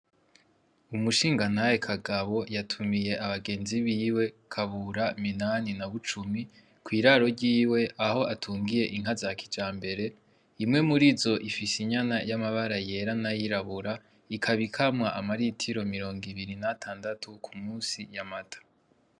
Umushingantahe Kagabo yatumiye abagenzi biwe ; Kabura, Minani na Bucumi kw'iraro ryiwe aho atungiye inka za kijambere imwe murizo ifise inyana y'amabara yera n'ayirabura ikaba ikamwa ama ritiro mirongo ibiri n'atandatu ku munsi y'amata.